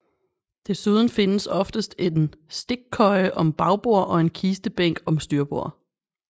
Desuden findes oftest en stikkøje om bagbord og en kistebænk om styrbord